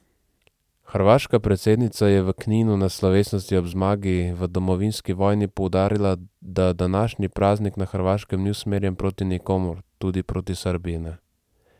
Hrvaška predsednica je v Kninu na slovesnosti ob zmagi v domovinski vojni poudarila, da današnji praznik na Hrvaškem ni usmerjen proti nikomur, tudi proti Srbiji ne.